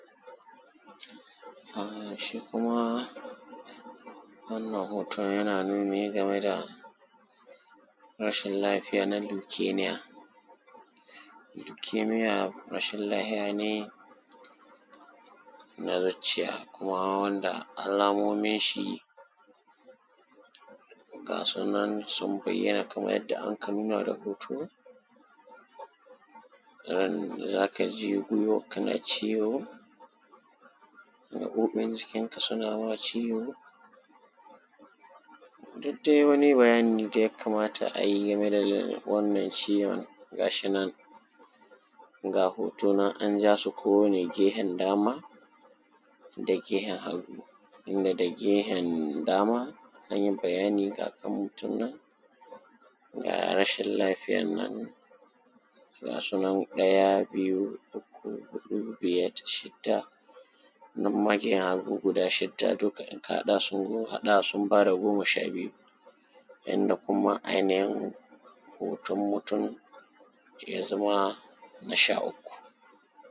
shi kuma wannan hoton yana nuni ne game da rashin lafiya: na leukemia leukemia rashin lafiya ne na zucciya kuma wanda alamominshi ga su nan sun bayyana kaman yadda anka nuna da hoto irin za ka ji gwiwarka na ciwo gaɓoɓin jikinka suna ma ciwo duk dai wani bayani da ya kamata a yi game da wannan ciwon ga shi nan ga hoto nan an ja su kowane gehen dama da gehen hagu inda da gehen dama an yi bayani ga kan mutum nan ga rashin lafiyar nan ga su nan ɗaya biyu uku huɗu biyat shidda nan maje ya zo guda shidda dukka in ka haɗa su in ka haɗa su sun ba da goma sha biyu inda kuma ainihin hoton mutum ya zama na sha uku